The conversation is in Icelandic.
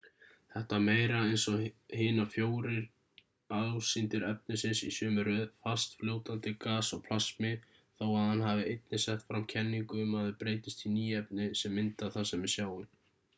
þetta var meira eins og hinar fjórir ásýndir efnisins í sömu röð: fast fljótandi gas og plasmi þó að hann hafi einnig sett fram kenningu um að þau breytist í ný efni sem mynda það sem við sjáum